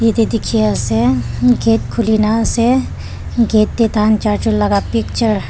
jatte dekhi ase gate khule kina ase gate te tar char jont laga picture --